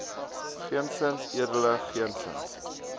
geensins edele geensins